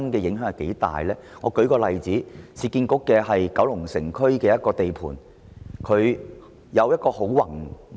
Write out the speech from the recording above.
讓我舉一個例子，就是市區重建局在九龍城區的一個地盤，計劃非常宏偉。